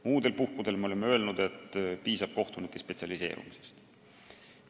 Muudel puhkudel oleme öelnud, et piisab kohtunike spetsialiseerumisest.